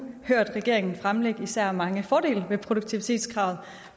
hørt regeringen fremlægge især mange fordele ved produktivitetskravet